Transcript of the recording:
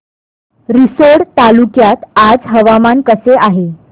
रिसोड तालुक्यात आज हवामान कसे आहे